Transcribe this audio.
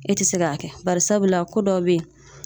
E te se ka kɛ barisabula ko dɔw be yen